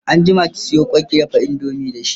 anjima ki Sayo kwai kundafa indomie da shi!